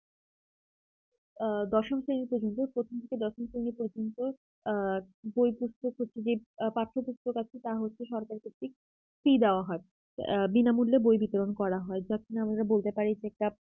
হ্যাঁ দশম শ্রেণীতে কিন্তু প্রথম থেকে দশম আ বইপত্র প্রতিটি পাঠ্যপুস্তক আছে তা হচ্ছে সরকারি ভিত্তিক fee দেওয়া হয় বিনামূল্যে বই বিতরণ করা হয় যা কিনা আমরা বলতে পারি যে